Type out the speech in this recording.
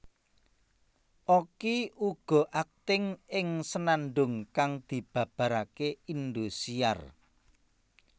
Okky uga akting ing Senandung kang dibabarake Indosiar